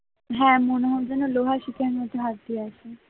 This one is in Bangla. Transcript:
হ্যাঁ মনে হয় যেন লোহার শিকের মধ্যে হাত দিয়ে আছি